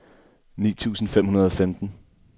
ni tusind fem hundrede og femten